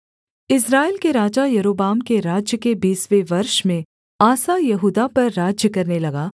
इस्राएल के राजा यारोबाम के राज्य के बीसवें वर्ष में आसा यहूदा पर राज्य करने लगा